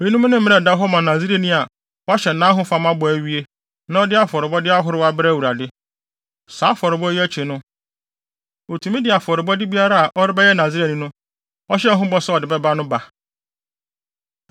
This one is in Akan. “Eyinom ne mmara a ɛda hɔ ma Nasareni a wahyɛ nʼahofama ho bɔ awie, na ɔde afɔrebɔ ahorow brɛ Awurade. Saa afɔrebɔ yi akyi no, otumi de afɔrebɔde biara a ɔrebɛyɛ Nasareni no, ɔhyɛɛ ho bɔ sɛ ɔde bɛba no ba.”